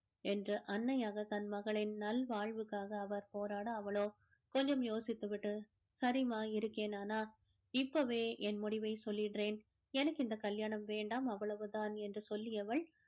என்று அன்னையாக தன் மகளின் நல்வாழ்வுக்காக அவர் போராட அவளோ கொஞ்சம் யோசித்து விட்டு சரிம்மா இருக்கேன் ஆனா இப்பவே என் முடிவை சொல்லிடுறேன் எனக்கு இந்த கல்யாணம் வேண்டாம் அவ்வளவுதான் என்று சொல்லியவள்